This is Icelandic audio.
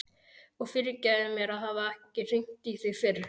Og fyrirgefðu mér að hafa ekki hringt í þig fyrr.